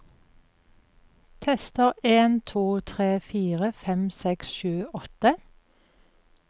Tester en to tre fire fem seks sju åtte